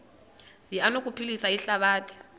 zi anokuphilisa ihlabathi